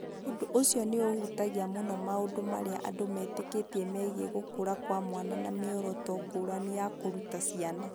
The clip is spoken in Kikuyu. Ũndũ ũcio nĩ ũhutagia mũno maũndũ marĩa andũ metĩkĩtie megiĩ gũkũra kwa mwana na mĩoroto ngũrani ya kũruta ciana.